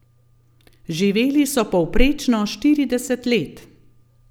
Živeli so povprečno štirideset let.